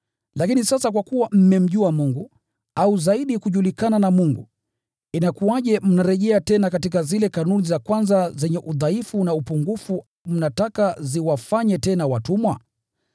Lakini sasa kwa kuwa mmemjua Mungu, au zaidi mmejulikana na Mungu, inakuwaje mnarejea tena katika zile kanuni za kwanza zenye udhaifu na upungufu? Mnataka ziwafanye tena watumwa?